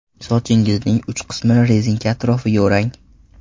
Sochingizning uch qismini rezinka atrofiga o‘rang.